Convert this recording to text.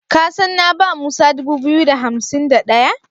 Ka san na ba Musa dubu biyu da hansim da ɗaya?